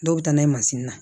Dɔw bɛ taa n'a ye na